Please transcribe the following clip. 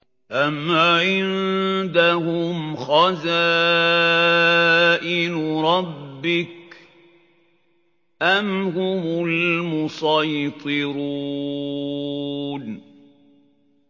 أَمْ عِندَهُمْ خَزَائِنُ رَبِّكَ أَمْ هُمُ الْمُصَيْطِرُونَ